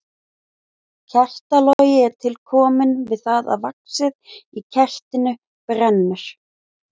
Kertalogi er til kominn við það að vaxið í kertinu brennur.